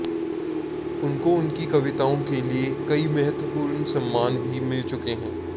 उनको उनकी कविताओं के लिए कई महत्वपूर्ण सम्मान भी मिल चुके हैं